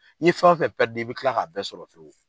N'i fɛn fɛn i bɛ kila k'a bɛɛ sɔrɔ fiyewu